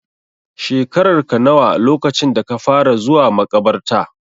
Shekararka nawa lokacin da ka fara zuwa maƙabarta?